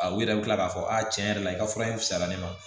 U yɛrɛ bi kila k'a fɔ a tiɲɛ yɛrɛ la i ka fura in fisayara ne ma